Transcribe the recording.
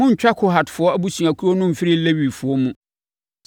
“Monntwa Kohatfoɔ abusuakuo no mfiri Lewifoɔ mu.